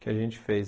que a gente fez.